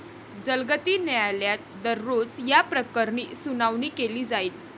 जलगती न्यायालयात दररोज याप्रकरणी सुनावणी केली जाईल.